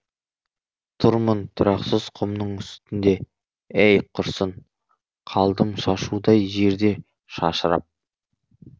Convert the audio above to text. тұрмын тұрақсыз құмның үстінде әй құрысын қалдым шашудай жерде шашырап